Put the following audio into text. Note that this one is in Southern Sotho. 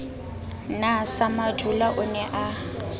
na samadula o ne a